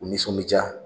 U nisɔndiya